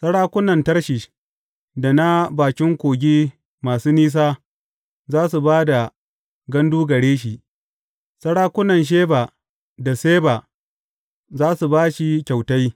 Sarakunan Tarshish da na bakin kogi masu nisa za su ba da gandu gare shi; sarakunan Sheba da Seba za su ba shi kyautai.